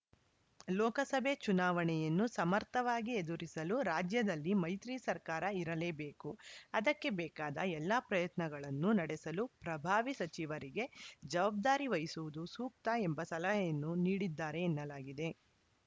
ಲೋಕಸಭೆ ಚುನಾವಣೆಯನ್ನು ಸಮರ್ಥವಾಗಿ ಎದುರಿಸಲು ರಾಜ್ಯದಲ್ಲಿ ಮೈತ್ರಿ ಸರ್ಕಾರ ಇರಲೇಬೇಕು ಅದಕ್ಕೆ ಬೇಕಾದ ಎಲ್ಲಾ ಪ್ರಯತ್ನಗಳನ್ನು ನಡೆಸಲು ಪ್ರಭಾವಿ ಸಚಿವರಿಗೆ ಜವಾಬ್ದಾರಿ ವಹಿಸುವುದು ಸೂಕ್ತ ಎಂಬ ಸಲಹೆಯನ್ನು ನೀಡಿದ್ದಾರೆ ಎನ್ನಲಾಗಿದೆ